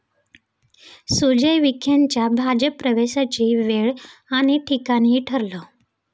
सुजय विखेंच्या भाजप प्रवेशाची वेळ आणि ठिकाणही ठरलं!